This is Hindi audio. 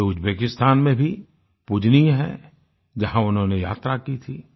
वे उज्बेकिस्तान में भी पूजनीय हैं जहां उन्होनें यात्रा की थी